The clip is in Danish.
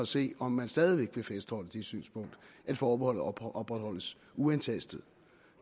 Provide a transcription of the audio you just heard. se om man stadig væk vil fastholde det synspunkt at forbeholdet opretholdes uantastet